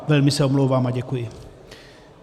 Velmi se omlouvám a děkuji.